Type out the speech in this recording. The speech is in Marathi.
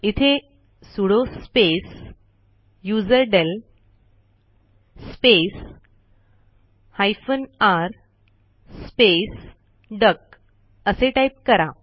इथे sudo space userdel space hyphen r space duck असे टाईप करा